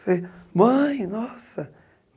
Falei, mãe, nossa.